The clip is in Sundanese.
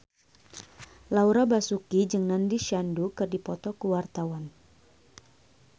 Laura Basuki jeung Nandish Sandhu keur dipoto ku wartawan